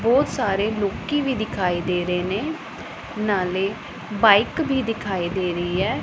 ਬਹੁਤ ਸਾਰੇ ਲੋਕੀ ਵੀ ਦਿਖਾਈ ਦੇ ਰਹੇ ਨੇ ਨਾਲੇ ਬਾਈਕ ਵੀ ਦਿਖਾਈ ਦੇ ਰਹੀ ਹੈ।